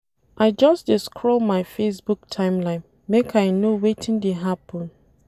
I just dey scroll my Facebook timeline make I know wetin dey happen.